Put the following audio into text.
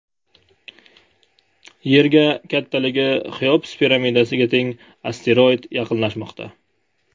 Yerga kattaligi Xeops piramidasiga teng asteroid yaqinlashmoqda.